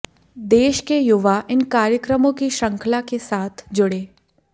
देश के युवा इन कार्यक्रमों की श्रृंखला के साथ जुड़ें